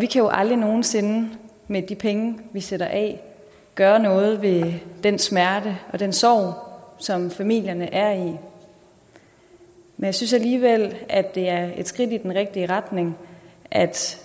vi kan jo aldrig nogen sinde med de penge vi sætter af gøre noget ved den smerte og den sorg som familierne er i men jeg synes alligevel at det er et skridt i den rigtige retning at